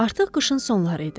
Artıq qışın sonları idi.